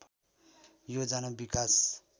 योजना विकास